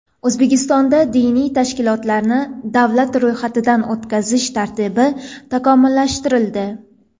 O‘zbekistonda diniy tashkilotlarni davlat ro‘yxatidan o‘tkazish tartibi takomillashtirildi.